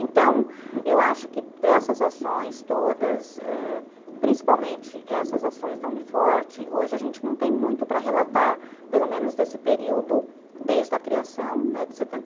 Então, eu acho que dessas ações todas, ãh, principalmente essas ações da Uni forte, hoje a gente não tem muito para relatar, pelo menos desse período, desde a criação, né,